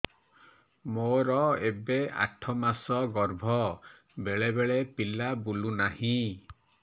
ମୋର ଏବେ ଆଠ ମାସ ଗର୍ଭ ବେଳେ ବେଳେ ପିଲା ବୁଲୁ ନାହିଁ